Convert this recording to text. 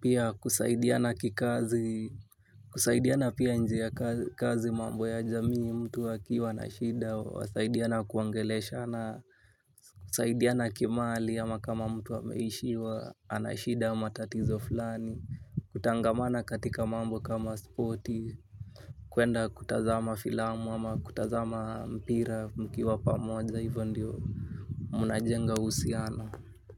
Pia kusaidia na kikazi. Kusaidia na pia njia kazi mambo ya jamii mtu akiwa na shida. Wasaidia na kuongele shana. Kusaidia na kimali ama kama mtu ameishiwa. Anashida matatizo fulani. Kutangamana katika mambo kama spoti. Kwenda kutazama filamu ama kutazama mpira mkiwa pa moja hivyo ndiyo mnajenga uhusiano.